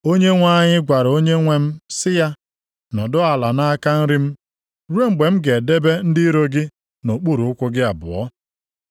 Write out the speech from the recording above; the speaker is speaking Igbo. “ ‘Onyenwe anyị gwara Onyenwe m sị ya, “Nọdụ ala nʼaka nri m ruo mgbe m ga-edebe ndị iro gị nʼokpuru ụkwụ gị abụọ.” ’+ 22:44 \+xt Abụ 110:1\+xt*